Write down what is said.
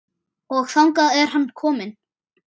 Og þangað er hann kominn.